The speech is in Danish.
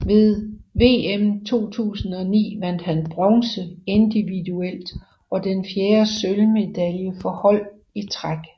Ved VM 2009 vandt han bronze individuelt og den fjerde sølvmedalje for hold i træk